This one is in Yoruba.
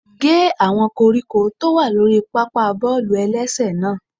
Gé àwọn koríko tó wà lórí pápá bọ́ọ̀lù-ẹlẹ́sẹ̀ náà!